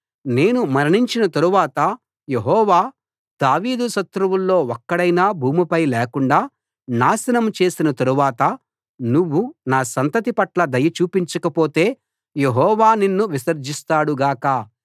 నేను మరణించిన తరువాత యెహోవా దావీదు శత్రువుల్లో ఒక్కడైనా భూమిపై లేకుండా నాశనం చేసిన తరువాత నువ్వు నా సంతతి పట్ల దయ చూపించకపోతే యెహోవా నిన్ను విసర్జిస్తాడు గాక